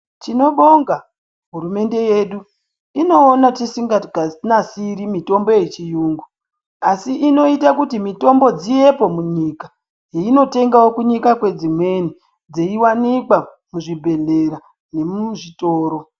Tinobonga hurumende yedu. Inoona tisinganasiri mitombo yechiyungu asi inoita kuti mitombo dzivepo munyika, dzeinotengawo kunyika kwedzimweni dzeiwanikwa muzvibhedhleya nemuzvitoro.